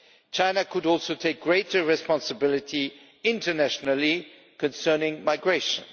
China could also take greater responsibility internationally concerning migration.